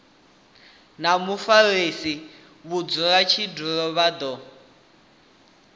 na mufarisa mudzulatshidulo vha do